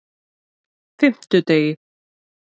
fimmtudegi